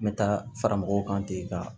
N bɛ taa fara mɔgɔw kan ten ka